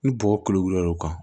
Ni bɔgɔ kolo wulila o kan